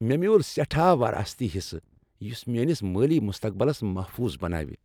مےٚ میُول سیٹھاہ وراثتی حصہٕ یس میٲنس مٲلی مستقبلس محفوظ بناو۔